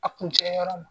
A kun tɛ yɔrɔ ma